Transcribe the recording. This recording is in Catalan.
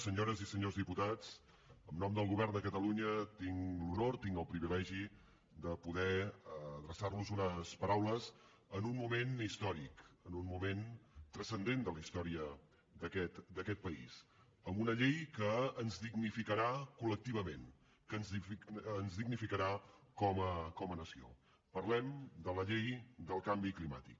senyores i senyors diputats en nom del govern de catalunya tinc l’honor tinc el privilegi de poder adreçar los unes paraules en un moment històric en un moment transcendent de la història d’aquest país amb una llei que ens dignificarà col·lectivament que ens dignificarà com a nació parlem de la llei del canvi climàtic